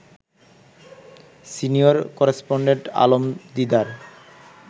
senior correspondent Alam Didar